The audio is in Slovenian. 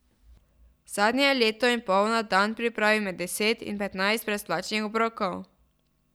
Zadnje leto in pol na dan pripravi med deset in petnajst brezplačnih obrokov.